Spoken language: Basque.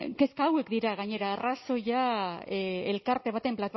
kezka hauek dira gainera arrazoia elkarte baten